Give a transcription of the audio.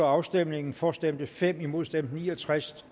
afstemningen for stemte fem imod stemte ni og tres